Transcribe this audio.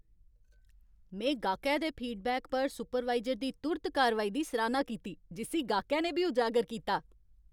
में गाह्कै दे फीडबैक पर सुपरवाइजर दी तुर्त कारवाई दी सराह्ना कीती जिस्सी गाह्कै ने बी उजागर कीता।